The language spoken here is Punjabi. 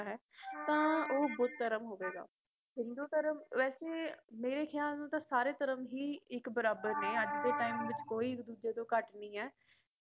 ਤਾਂ ਓਹ ਬੁੱਧ ਧਰਮ ਹੋਵੇਗਾ ਹਿੰਦੂ ਧਰਮ ਵੈਸੇ ਮੇਰੇ ਖਿਆਲ ਨਾਲ ਤਾਂ ਸਾਰੇ ਧਰਮ ਹੀ ਇਕ ਬਰਾਬਰ ਨੇ ਇਸ ਟਾਈਮ ਕੋਈ ਇਕ ਦੂਜੇ ਤੋਂ ਘਟ ਨਹੀ ਏ